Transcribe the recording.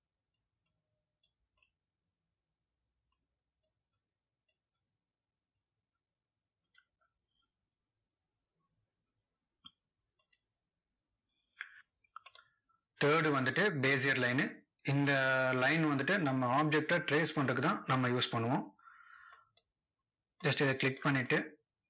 third வந்துட்டு bezier line இந்த ah line வந்துட்டு, நம்ம object அ trace பண்றதுக்கு தான் நம்ம use பண்ணுவோம்.